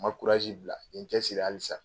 Ma bila n ye n cɛsiri halisa